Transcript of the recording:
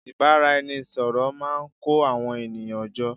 ìbáraẹnisọ̀rọ̀ máà ń kó àwọn ènìyàn jọ